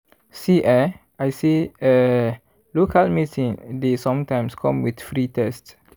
see eh i say eeh local meeting dey sometimes come with free test.